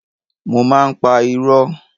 Mo má ń pa irọ́.